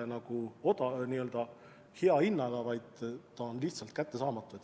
ainult ei ole hea hinnaga, vaid see on lihtsalt kättesaamatu.